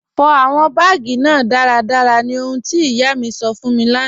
Fọ awọn baágì náà daradara ní ọ̀hùn ti iyà mi sọ́ fún mi lána.